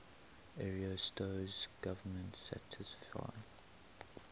ariosto's government satisfied